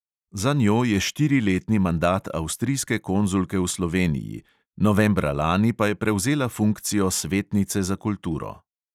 Za njo je štiriletni mandat avstrijske konzulke v sloveniji, novembra lani pa je prevzela funkcijo svetnice za kulturo.